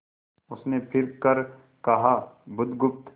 उसने फिर कर कहा बुधगुप्त